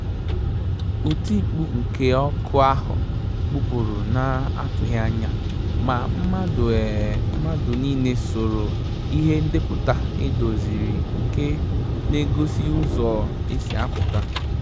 Òtímkpù nké ókù áhụ́ gbụ́pụ́rụ̀ nà-àtụ́ghị́ ányà, mà mmàdụ̀ um nìlé sòrò ìhè ndépụ̀tà èdòzìrì nké n’égósí ụ́zọ́ ésí àpụ́tà.